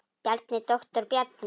Bjarni, doktor Bjarni.